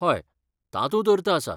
हय, तातूंत अर्थ आसा.